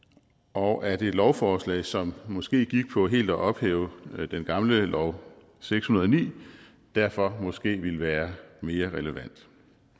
og at et lovforslag som måske gik på helt at ophæve den gamle lov seks hundrede og ni derfor måske ville være mere relevant